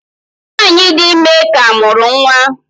Nwanyị dị ime ka mụrụ nwa.